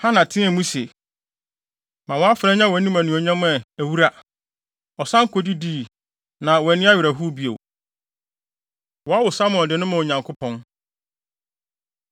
Hana teɛ mu se, “Ma wʼafenaa nya wʼanim anuonyam a, awura” Ɔsan kɔ kodidii, na wanni awerɛhow bio. Wɔwo Samuel De No Ma Onyankopɔn